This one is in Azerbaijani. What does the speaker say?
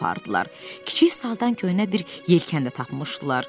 Kiçik saldan köhnə bir yelkən də tapmışdılar.